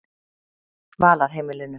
Dvalarheimilinu